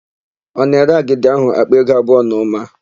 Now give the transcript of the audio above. Ọ na-ere agidi áhụ̀ àkpà ego abụọ na ụma?